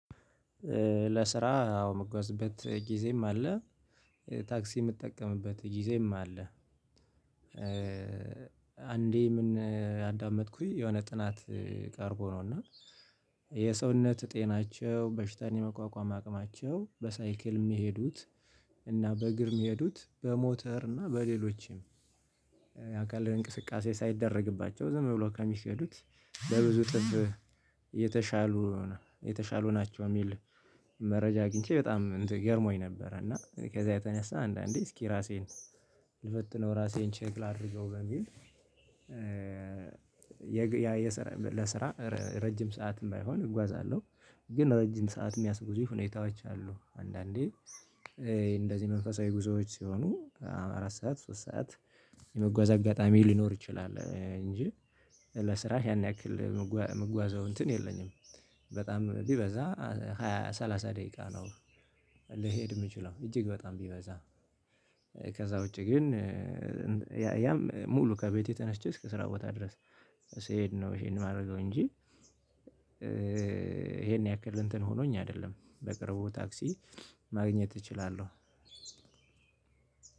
ለስራ አዎ የምጓዝበት ጊዜም አለ ታክሲ የምጠቀምበት ጊዜም አለ። አንዴ ምን ያዳመጥኩኝ የሆነ ጥናት ቀርቦ ነው። እና የሰውነት ጤናቸው በሽታን የመቋቋም አቅማቸው በሳይክል የሚሄዱት እና በእግር የሚሄዱት በሞተር እና በሌሎችም አካል እንቅስቃሴ ሳይደረግባቸው ዝም ብሎ ከሚሄዱት በብዙ እጥፍ የተሻሉ የተሻሉ ናቸው የሚል መረጃ አግኝቼ በጣም ገረሞኝ ነበረ። እና ከዛ የተነሳ አንዳንዴ እስኪ ራሴን ልፈትነው ራሴን ቼክ ላድርገው በሚል የሰራ ለስራ ረጅም ሰዓት ባይሆን እጓዛለሁ። ግን ረጅም ሰዓት የሚያስጉዙ ሁኔታዎች አሉ። አንዳንዴ እንደዚህ መንፈሳዊ ጉዞዎች ሲሆኑ አራት ሰዓት ሶስት ሰዓት የመጓዝ አጋጣሚ ሊኖር ይችላል። እንጂ ለስራ ያን ያክል የምጓዘው እንትን የለኝም። በጣም ቢበዛ ሃያ ሰላሳ ደቂቃ ነው። ልሄድ የምችለው እጅግ በጣም ቢበዛ ከዛ ውጪ ግን። ያም ሙሉ ከቤቴ ተነስቼ እስከ ስራ ቦታ ድረስ ስሄድ ነው ይሄን የማደርገው እንጂ። ይሄን ያክል እንትን ሆኖኝ አይደለም። በቅርቡ ታክሲ ማግኘት እችላለሁ።